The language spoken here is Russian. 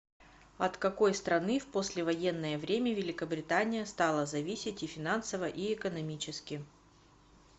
от какой страны в послевоенное время великобритания стала зависеть и финансово и экономически